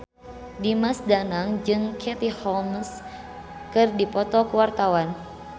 Dimas Danang jeung Katie Holmes keur dipoto ku wartawan